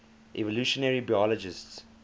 evolutionary biologists